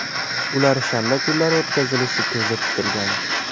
Ular shanba kunlari o‘tkazilishi ko‘zda tutilgan.